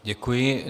Děkuji.